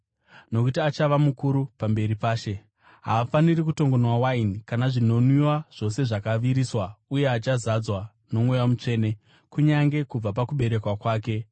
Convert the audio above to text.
nokuti achava mukuru pamberi paShe. Haafaniri kutongonwa waini kana zvinonwiwa zvose zvakaviriswa, uye achazadzwa noMweya Mutsvene kunyange kubva pakuberekwa kwake.